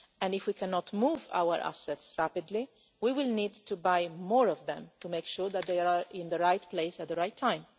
If we cannot move our assets rapidly, we will need to buy more of them to make sure that they are in the right place at the right time.